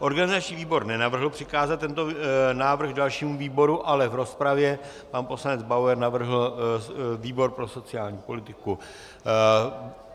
Organizační výbor nenavrhl přikázat tento návrh dalšímu výboru, ale v rozpravě pan poslanec Bauer navrhl výbor pro sociální politiku.